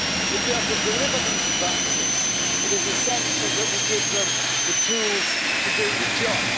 If they are to deliver these advances, it is essential that we give them the tools to do the job.